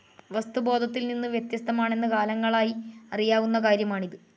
വസ്തു ബോധത്തിൽ നിന്നു വ്യത്യസ്തമാണെന്ന് കാലങ്ങളായി അറിയാവുന്ന കാര്യമാണ്.